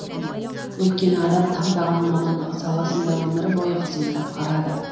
өйткені адам таңдаған мамандығы саласында өмір бойы қызмет атқарады